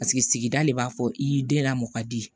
Paseke sigida le b'a fɔ i yi den la mɔ ka di